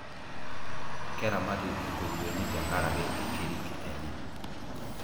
keramati inkuruweni tenkaraki inkirik enye